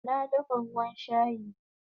Na dafa ruwan shayi